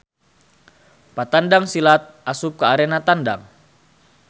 Patandang silat asup ka arena tandang.